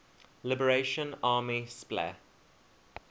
liberation army spla